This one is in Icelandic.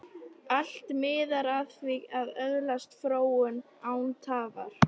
Allt miðar að því að öðlast fróun, án tafar.